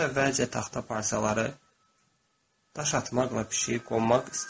O əvvəlcə taxta parçaları, daş atmaqla pişiyi qovmaq istədi.